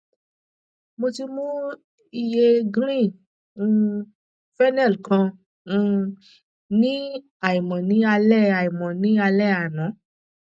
mo ti mu iye green um phynel kan um ní àìmọ ní alẹ àìmọ ní alẹ àná